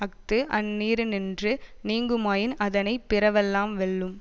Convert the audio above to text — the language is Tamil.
அஃது அந்நீரினின்று நீங்குமாயின் அதனை பிறவெல்லாம் வெல்லும்